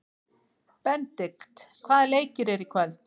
Benidikt, hvaða leikir eru í kvöld?